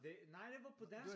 Det nej det var på dansk!